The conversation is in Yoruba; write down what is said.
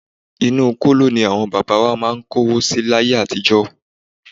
Inú kóló ní àwọn bàbá wa máà ń kówó si láyé àtijọ́.